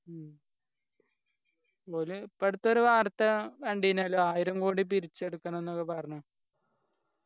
ഉം ഒരു ഇപ്പൊ അടുത്തൊരു വാർത്ത കണ്ടിനല്ലോ ആയിരം കോടി പിരിച്ചെടുക്കണെന്നൊക്കെ പറഞ്ഞ്